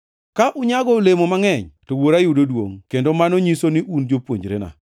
Ka unyago olemo mangʼeny, to Wuora yudo duongʼ, kendo mano nyiso ni un jopuonjrena.